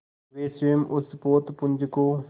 वे स्वयं उस पोतपुंज को